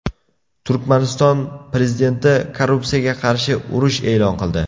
Turkmaniston prezidenti korrupsiyaga qarshi urush e’lon qildi.